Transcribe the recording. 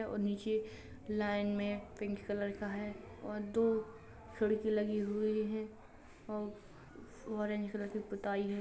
और नीचे लाइन में पिंक कलर का है और दो खिड़की लगी हुई है और ऑरेंज कलर की पुताई है।